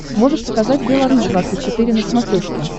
можешь показать белорусь двадцать четыре на смотрешке